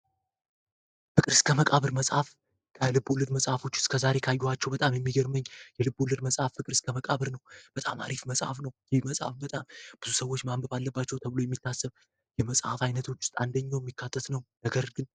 የፍቅር እስከ መቃብር መፅሐፍ እስከ አሁን ካየኋቸው የልቦለድ መፅሐፍ ሁላ የሚገርመኝ መፅሐፍ ፍቅር እስከ መቃብር መፅሐፍ ነው። በጣም አሪፍ መፅሐፍ ነው። ይህ መፅሐፍ በጣም ብዙ ሰዎች ማንበብ አለባቸው ተብሎ ከሚታሰብ መፅሐፍ የሚካተት ነው።